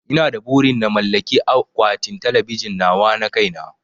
Ina da burin na mallaki akwatin talabijin nawa na kai na